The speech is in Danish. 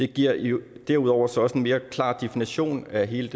giver giver derudover også en mere klar definition af hele